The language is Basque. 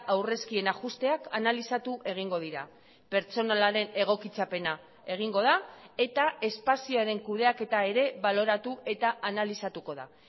aurrezkien ajusteak analizatu egingo dira pertsonalaren egokitzapena egingo da eta espazioaren kudeaketa ere baloratu eta analizatuko da